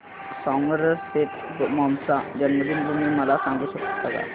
Somerset Maugham चा जन्मदिन तुम्ही मला सांगू शकता काय